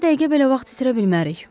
Bir dəqiqə belə vaxt itirə bilmərik.